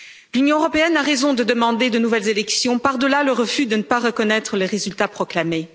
L'Union européenne a raison de demander de nouvelles élections, par delà le refus de ne pas reconnaître les résultats proclamés.